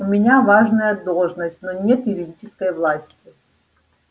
у меня важная должность но нет юридической власти